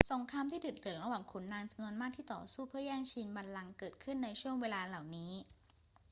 สงครามที่ดุเดือดระหว่างขุนนางจำนวนมากที่ต่อสู้เพื่อแย่งชิงบัลลังก์เกิดขึ้นในช่วงเวลาเหล่านี้